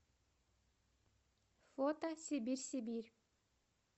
фото сибирьсибирь